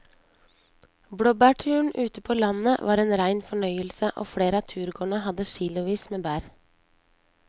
Blåbærturen ute på landet var en rein fornøyelse og flere av turgåerene hadde kilosvis med bær.